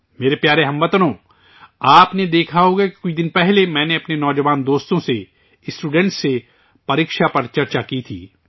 میرے پیارے ہم وطنو، آپ نے دیکھا ہوگا کہ کچھ دن پہلے میں نے اپنے نوجوان دوستوں سے، اسٹوڈنٹ سے 'پریکشاپر چرچہ' کی تھی